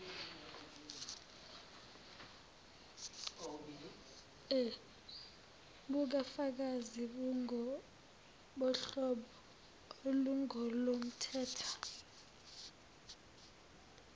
bukafakazi bungobohlobo olungolomthetho